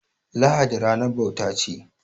Lahadi ranar bauta ce.